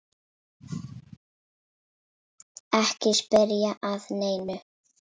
Ekki spyrja að neinu!